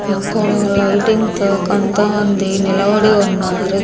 ఇక్కడ లైటింగ్ తో కొంతమంది నిలబడి ఉన్నారు.